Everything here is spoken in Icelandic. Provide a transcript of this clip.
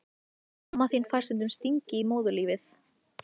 Mamma þín fær stundum stingi í móðurlífið.